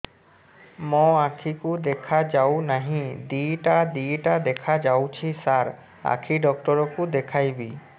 ମୋ ଆଖିକୁ ଦେଖା ଯାଉ ନାହିଁ ଦିଇଟା ଦିଇଟା ଦେଖା ଯାଉଛି ସାର୍ ଆଖି ଡକ୍ଟର କୁ ଦେଖାଇବି